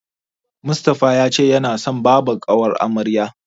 Mustapha ya ce yana son babbar ƙawar amaryar.